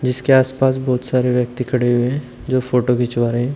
जिसके आसपास बहुत सारे व्यक्ति खड़े हुए हैं जो फोटो खिंचवा रहे हैं।